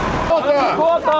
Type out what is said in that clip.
Heyvan! Heyvan! Heyvan!